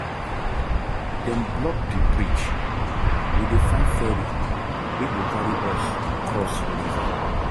Dem block di bridge, we dey find ferry wey go carry us cross river.